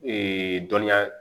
dɔnniya